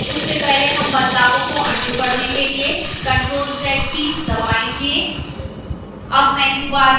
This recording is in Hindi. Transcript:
उससे पहले हम बदलावों को अन्डू करने के लिए ctrl + z कीज़ दबायेंगे